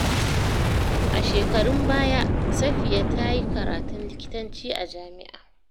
A shekarun baya, Safiya ta yi karatun likitanci a jami’a.